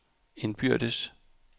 indbyrdes